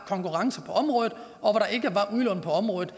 konkurrence på området udlån på området